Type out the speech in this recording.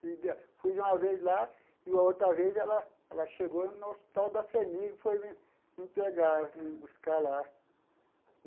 Fui uma vez lá e outra vez ela ela chegou no Hospital da FHEMIG e foi me me pegar, me buscar lá.